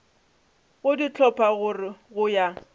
go di hlopha go ya